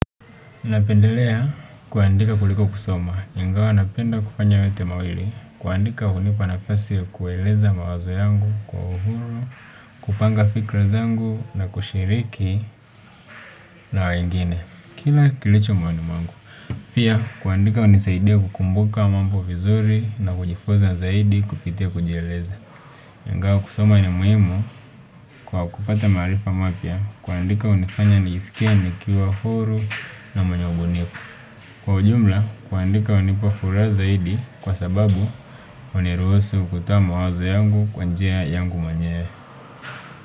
Napendelea kuandika kuliko kusoma, ingawa napenda kufanya yote mawili, kuandika hunipa nafasi ya kueleza mawazo yangu kwa uhuru, kupanga fikra zangu na kushiriki na wengine, kila kilicho moyoni mwangu. Pia kuandika hunisaidia kukumbuka mambo vizuri na kujifunza zaidi kupitia kujieleza ingawa kusoma ni muhimu kwa kupata maarifa mapya kuandika hunifanya nisikie nikiwa huru na mwenye ubunifu kwa ujumla kuandika hunipa furaha zaidi kwa sababu huniruhusu kutoa mawazo yangu kwa njia yangu mwenyewe.